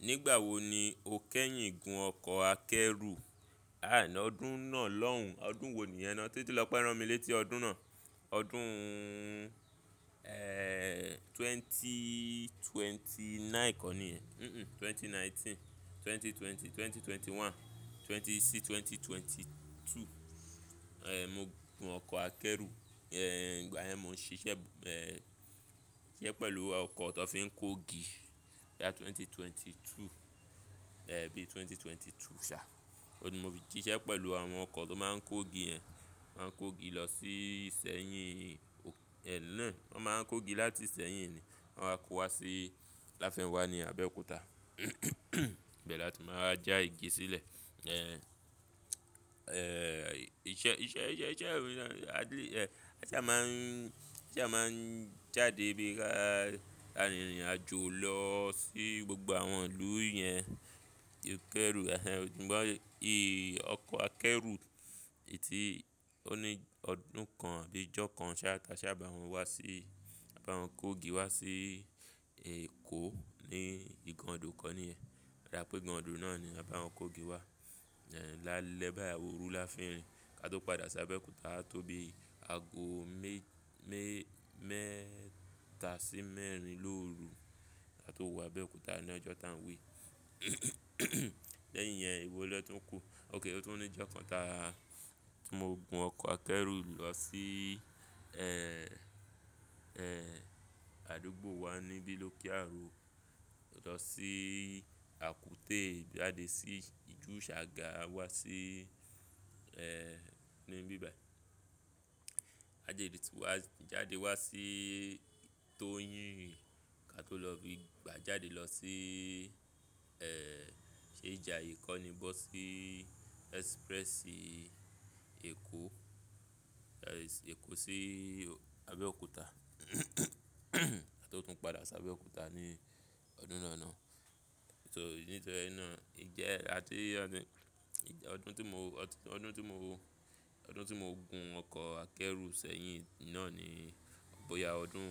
Nígbà wo ni o kẹ́yìn gun ọkọ̀ akẹ́rù? Àá lọdún náà lọ́hùn, ọdún wo ni yẹn naá? Títí lọ́ pé rán mi létí ọdún náà. Ọdún, eh, 2029 kọ́ ni yẹ́n. Mm-mm, 2019, 2020, 2021, 26, 2022. Eh, mo gun ọkọ̀ akẹ́rù, eh, nígbà yẹn mo ń ṣiṣẹ́, eh, ṣiṣẹ́ pẹ̀lú ọkọ̀ tó fi ń kó igi. Láti 2022, eh, bí i 2022 ṣá. Oun ni mo fi síṣẹ́ pẹ̀lú àwọn ọkọ̀ tó máa ń kó igi yẹn. Wọ́n máa ń kó igi lọ sí Ìsẹ́yìn, ẹ́yin nàá, wọ́n máa ń kó igi láti ìsẹ́yìn ni. Wọ́n máa kó wá sí Láfẹ̀nwá ní Abẹ́òkúta. Bẹ́ẹ̀ la ti máa ń wá já igi sílẹ̀. Eh, eh, iṣẹ́, iṣẹ́, iṣẹ́, iṣẹ́, iṣẹ́ ẹ́ rí i náà, a lè, eh, aṣá máa ń, aṣá máa ń jáde bí i ka, ka ìrìnàjò lọ sí gbogbo àwọn ìlú yẹn. Fikẹ́rù, ehn en, nígbà yí, ọkọ̀ akẹ́rù yìí tí ó ní ọdún kan àbí ìjọ kan ṣá, kaṣá bá wọn wá sí, bá wọn kó igi wá sí Èkó ní Igandò kọ́ ni yẹ́. O dá bi pé Igandò náà ni a bá wọn kó igi wá. Eh, lálẹ́ báyìí óru láfín rìn. Ka tó padà sí Abẹ́òkúta, a tó bí i ago mé, mé, mẹ́ta sí mẹ́rin lóru ka tó wo Abẹ́òkúta ní ọjọ́ tá ń wí. Lẹ́yìn yẹn ewo naa tuń kú. Ókay, ó tún ní ìjọ kan ta mo gun ọkọ̀ akẹ́rù lọ sí, eh, eh, àdúgbò wa níbi lóke Àro lọ sí Àkúté jáde sí ìjú Ṣàgá wá sí, eh, níbí báyìí. A jáde sì wá, jáde wá sí Toyin ka tó lọ bí i gbà jáde lọ sí, eh, ṣé Ijàye kọ́ ni bọ́ sí express Èkó, eh, Èkó sí Abẹ́òkúta. Ka tó tún padà sí Abẹ́òkúta ní ọdún náà náà. So, nítorí náà, ìjẹ́ là tí ọdún, ọdún tí mo, ọdún tí mo, ọdún tí mo gun ọkọ̀ akẹ́rù sẹ́yìn náà ni. Bóyá ọdún,